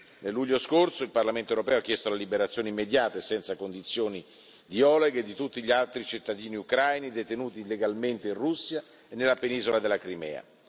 Nel luglio scorso il Parlamento europeo ha chiesto la liberazione immediata e senza condizioni di Oleg e di tutti gli altri cittadini ucraini detenuti illegalmente in Russia e nella penisola della Crimea.